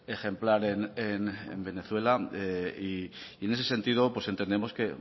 ejemplar en venezuela en ese sentido entendemos que